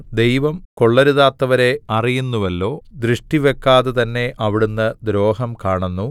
ദൈവം കൊള്ളരുതാത്തവരെ അറിയുന്നുവല്ലോ ദൃഷ്ടിവക്കാതെ തന്നെ അവിടുന്ന് ദ്രോഹം കാണുന്നു